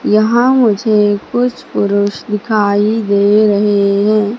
यहां मुझे कुछ पुरुष दिखाई दे रहे हैं।